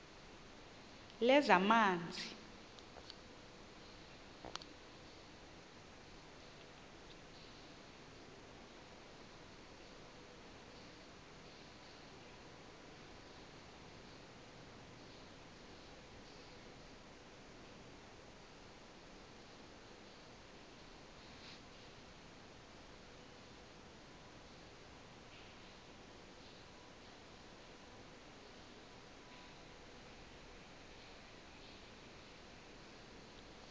lezamanzi